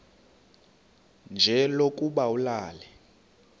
nje lokuba ulale